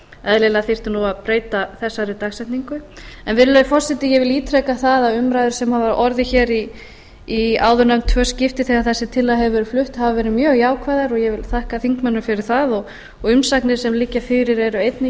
eðlilega þyrfti að breyta þessari dagsetningu virðulegi forseti ég vil ítreka það að umræður sem hafa orðið hér í áðurnefnd tvö skipti þegar þessi tillaga hefur verið flutt hafa verið mjög jákvæðar og ég vil þakka þingmönnum fyrir það og umsagnir sem liggja fyrir eru einnig